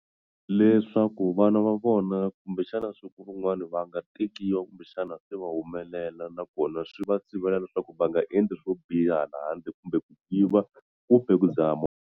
Leswaku vana va vona kumbexana siku rin'wani va nga tekiwa kumbexana se va humelela nakona swi va sivela leswaku va nga endli swo biha hala handle kumbe ku yiva kumbe ku dzaha .